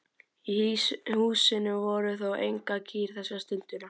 Í húsinu voru þó engar kýr þessa stundina.